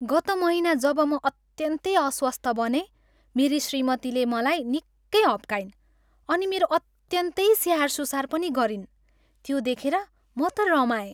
गत महिना जब म अत्यन्तै अस्वस्थ बनेँ मेरी श्रीमतिले मलाई निकै हप्काइन् अनि मेरो अत्यन्तै स्याहार सुसार पनि गरिन्, त्यो देखेर म त रमाएँ।